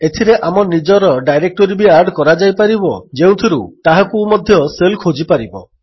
ଏଥିରେ ଆମ ନିଜର ଡାଇରେକ୍ଟୋରୀ ବି ଆଡ୍ କରାଯାଇପାରିବ ଯେଉଁଥିରୁ ତାହାକୁ ମଧ୍ୟ ଶେଲ୍ ଖୋଜିପାରିବ